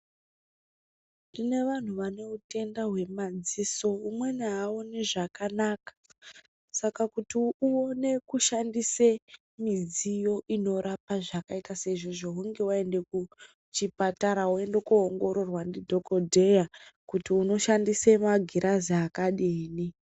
Tine vanhu vane hutenda hwemadziso , umweni aaone zvakanaka saka kuti uone kushandise midziyo inorapa zvakaita seizvozvo hunge waende kuchipatara woende koongororwa ndidhokodheya kuti ushandise magirazi akadini